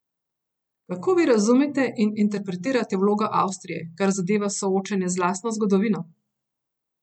Kako vi razumete in interpretirate vlogo Avstrije, kar zadeva soočenje z lastno zgodovino?